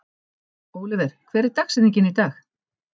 Oliver, hver er dagsetningin í dag?